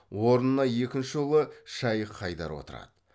орнына екінші ұлы шайх хайдар отырады